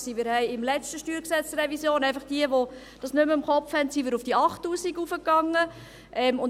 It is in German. Für diejenigen, welche das nicht mehr im Kopf haben: Bei der letzten StG-Revision gingen wir auf diese 8000 Franken rauf.